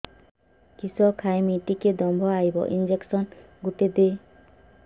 କିସ ଖାଇମି ଟିକେ ଦମ୍ଭ ଆଇବ ଇଞ୍ଜେକସନ ଗୁଟେ ଦେ